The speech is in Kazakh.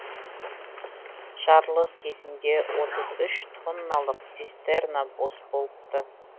жарылыс кезінде отыз үш тонналық цистерна бос болыпты